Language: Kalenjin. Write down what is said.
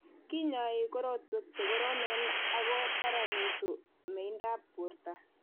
Kinyoi korotwek chekoromen ako kararanitu meindap borto